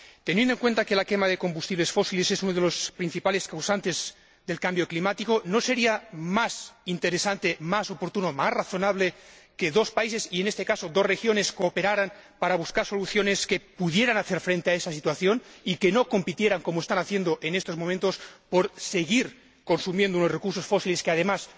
Teniendo en cuenta que la quema de combustibles fósiles es uno de los principales causantes del cambio climático, ¿no sería más interesante, más oportuno, más razonable que dos países y, en este caso, dos regiones cooperaran para buscar soluciones que pudieran hacer frente a esa situación y que no compitieran, como están haciendo en estos momentos, por seguir consumiendo unos recursos fósiles cuyo uso, además,